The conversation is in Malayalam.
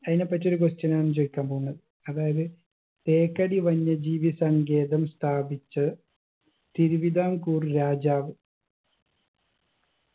അയിനെ പറ്റി ഒരു question ആണ് ചോയിക്കാൻ പോവുന്നെ അതായത് തേക്കടി വന്യജീവി സങ്കേതം സ്ഥാപിച്ച തിരുവിതാംകൂർ രാജാവ്‌